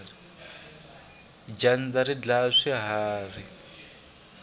dyandza ri dlaya swiharhi